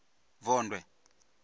vondwe